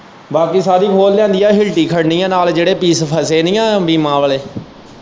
ਬਾਕੀ ਸਾਰੀ ਖੋਲ ਲਿਆਂਦੀ ਏ ਹਿਲਟੀ ਖੜਣੀ ਏ ਨਾਲ਼ ਜਿਹੜੇ ਪੀਸ ਫਸੇ ਨੀ ਆ ਬੀਮਾ ਵਾਲ਼ੇ।